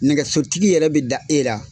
Nɛgɛsotigi yɛrɛ bi da e la.